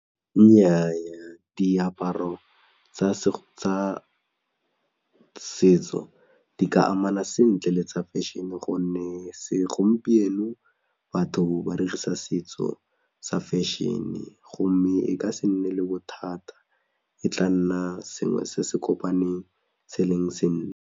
Nnyaa diaparo tsa setso di ka amana sentle le tsa fashion-e gonne segompieno batho ba dirisa setso sa fashion-e gomme e ka se nne le bothata e tla nna sengwe se se kopaneng se e leng .